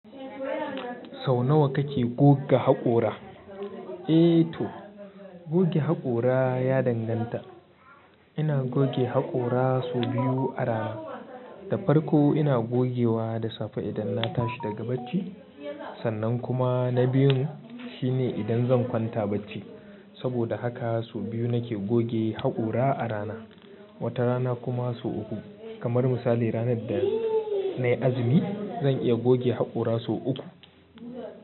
Sau nawa kake goge haƙora? Eee to goge haƙora ya danganta. Ina goge haƙora sau biyu a rana. Da farko ina gogewa da safe idan na tashi daga bacci. Sannan kuma na biyun shine idan zan kwanta bacci. Saboda haka sau biyu nake goge haƙora a rana. Wata rana kuma sau uku. Kamar misali ranar da nayi azumi zan iya goge haƙora sau uku.